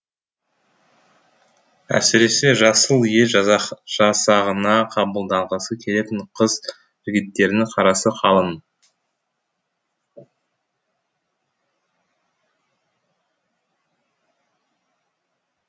әсіресе жасыл ел жасағына қабылданғысы келетін қыз жігіттердің қарасы қалың